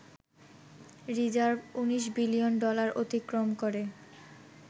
Reserve ১৯ billion dollar অতিক্রম করে।